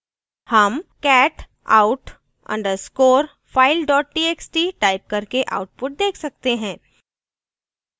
हम cat out _ underscore file dot txt type करके output देख सकते हैं